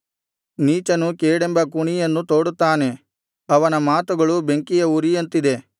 ನೀಚನು ಕೇಡೆಂಬ ಕುಣಿಯನ್ನು ತೋಡುತ್ತಾನೆ ಅವನ ಮಾತುಗಳು ಬೆಂಕಿಯ ಉರಿಯಂತಿದೆ